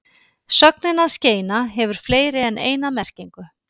Sögnin að skeina hefur fleiri en eina merkingu.